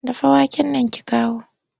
Dafa waken nan ki kawo!